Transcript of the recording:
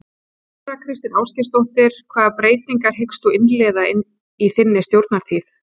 Þóra Kristín Ásgeirsdóttir: Hvaða breytingar hyggst þú innleiða í þinni stjórnartíð?